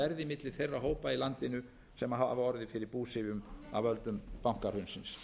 þeirra hópa í landinu sem hafa orðið fyrir búsifjum af völdum bankahrunsins